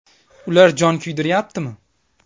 Ular jon kuydiryaptimi?